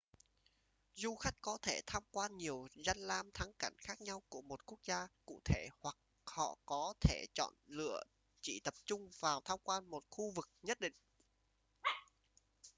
du khách có thể tham quan nhiều danh lam thắng cảnh khác nhau của một quốc gia cụ thể hoặc họ có thể chọn lựa chỉ tập trung vào tham quan một khu vực nhất định